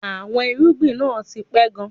Àwọn irúgbìn náà ti pẹ̀ka.